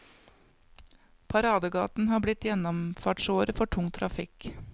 Paradegaten har blitt gjennomfartsåre for tung trafikk.